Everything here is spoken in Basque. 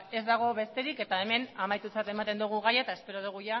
ez dago besterik eta hemen amaitutzat ematen dugu gaia eta espero dugu